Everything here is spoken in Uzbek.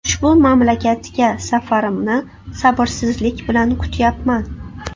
Ushbu mamlakatga safarimni sabrsizlik bilan kutyapman.